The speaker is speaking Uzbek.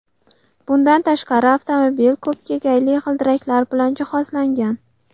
Bundan tashqari, avtomobil ko‘p kegayli g‘ildiraklar bilan jihozlangan.